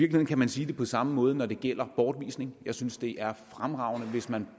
kan man sige det på samme måde når det gælder bortvisning jeg synes det er fremragende hvis man